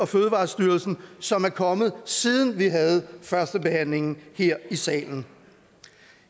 fødevarestyrelsen som er kommet siden vi havde førstebehandlingen her i salen